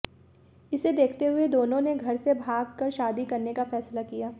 इसे देखते हुए दोनों ने घर से भाग कर शादी करने का फैसला किया